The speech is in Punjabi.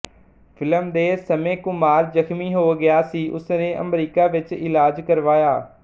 ਫਿਲਮ ਦੇ ਸਮੇਂ ਕੁਮਾਰ ਜ਼ਖ਼ਮੀ ਹੋ ਗਿਆ ਸੀ ਉਸ ਨੇ ਅਮਰੀਕਾ ਵਿੱਚ ਇਲਾਜ ਕਰਵਾਇਆ